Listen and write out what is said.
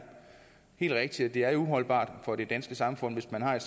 helt rigtigt at det er uholdbart for det danske samfund hvis man har en